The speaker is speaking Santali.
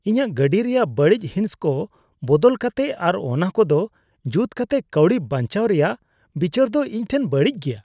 ᱤᱧᱟᱹᱜ ᱜᱟᱹᱰᱤ ᱨᱮᱭᱟᱜ ᱵᱟᱹᱲᱤᱡ ᱦᱤᱸᱥᱠᱚ ᱵᱟᱝ ᱵᱚᱫᱚᱞ ᱠᱟᱛᱮ ᱟᱨ ᱚᱱᱟ ᱠᱚᱫᱚ ᱡᱩᱛ ᱠᱟᱛᱮ ᱠᱟᱹᱣᱰᱤ ᱵᱟᱧᱪᱟᱣ ᱨᱮᱭᱟᱜ ᱵᱤᱪᱟᱹᱨ ᱫᱚ ᱤᱧ ᱴᱷᱮᱱ ᱵᱟᱹᱲᱤᱡ ᱜᱮᱭᱟ ᱾